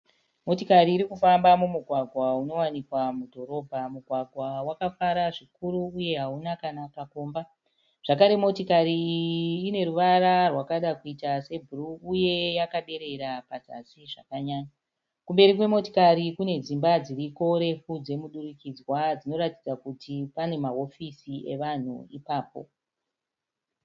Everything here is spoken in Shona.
Motikari iri kufamba mumugwagwa unowanikwa mudhorobha. Mugwagwa wakafara zvikuru uye hauna kana kakomba. Zvakare motikari iyi ine ruvara rwakada kuita sebhuruu uye yakaderera pazasi zvakanyanya. Kumberi kwemotokari kune dzimba dziriko refu dzemudurikidzwa dzinoratidza kuti pane mahofisi evanhu ipapo.